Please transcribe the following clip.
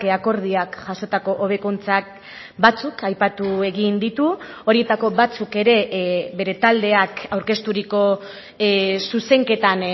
akordioak jasotako hobekuntzak batzuk aipatu egin ditu horietako batzuk ere bere taldeak aurkezturiko zuzenketan